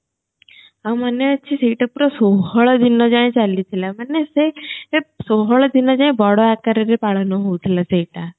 ଆଉ ମନେ ଅଛି ସେଇଟା ପୁରା ଷୋହଳ ଦିନଯାଏ ଚାଲିଥିଲା ମନେ ସେ ଷୋହଳ ଦିନଯାଏ ବଡଆକାରରେ ପାଳନ ହଉଥିଲା ସେଇଟା